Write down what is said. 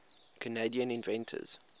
canadian inventors